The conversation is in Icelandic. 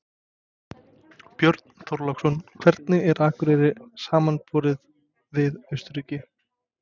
Björn Þorláksson: Hvernig er Akureyri samanborið við Austurríki?